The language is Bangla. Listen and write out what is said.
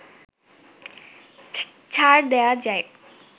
ছাড় দেয়া যায়